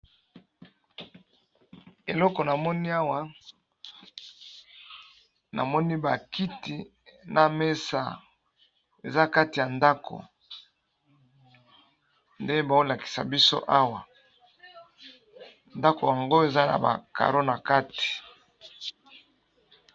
Eloko namoni awa namoni bakiti Namesa ezakati yandako nde baolakisa biso awa ndako yango awa eza nabakaro nakati